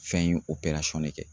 Fɛn in de kɛ